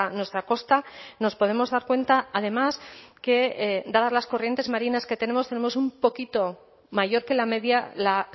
nuestra costa nos podemos dar cuenta además que dadas las corrientes marinas que tenemos tenemos un poquito mayor que la media la